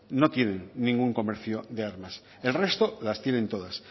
no tienen ningún comercio de armas el resto las tienen todas